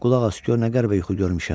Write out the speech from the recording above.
Qulaq as gör nə qəribə yuxu görmüşəm.